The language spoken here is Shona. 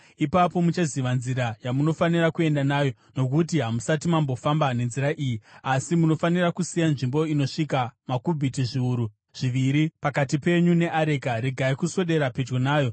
Ipapo muchaziva nzira yamunofanira kuenda nayo, nokuti hamusati mambofamba nenzira iyi. Asi munofanira kusiya nzvimbo inosvika makubhiti zviuru zviviri pakati penyu neareka. Regai kuswedera pedyo nayo.”